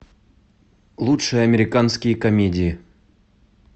лучшие американские комедии